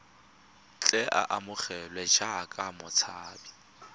tle a amogelwe jaaka motshabi